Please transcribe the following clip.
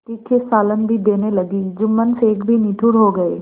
तीखे सालन भी देने लगी जुम्मन शेख भी निठुर हो गये